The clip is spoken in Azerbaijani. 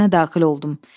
İçərisinə daxil oldum.